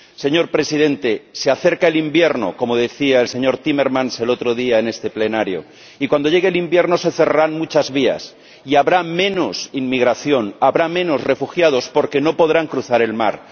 Señor Presidente, se acerca el invierno —como decía el señor Timmermans el otro día en este Pleno— y cuando llegue el invierno se cerrarán muchas vías y habrá menos inmigración, habrá menos refugiados porque no podrán cruzar el mar.